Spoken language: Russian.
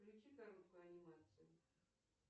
включи короткую анимацию